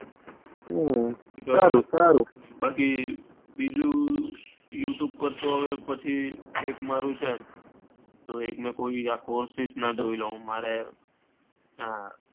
હમ સારું સારું બાકી બીજું youtube પર તો પછી એક મારુ છે courses ના જોઈ લાઉ મારે હા,